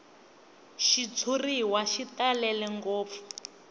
xitshuriwa xi talele ngopfu